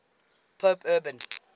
pope urban